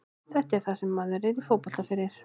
Þetta er það sem maður er í fótbolta fyrir.